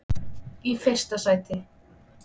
í fyrsta sæti.